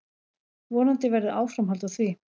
Vonandi verður áframhald á því.